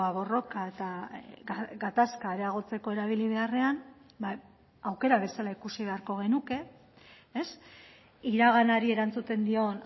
borroka eta gatazka areagotzeko erabili beharrean aukera bezala ikusi beharko genuke iraganari erantzuten dion